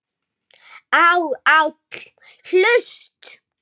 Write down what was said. á, áll, hlust